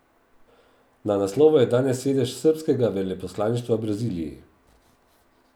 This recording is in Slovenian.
Na naslovu je danes sedež srbskega veleposlaništva v Braziliji.